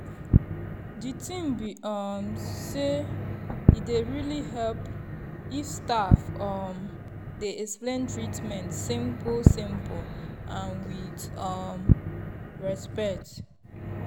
the thing be um sey e dey really help if staff um dey explain treatment simple-simple and with um respect.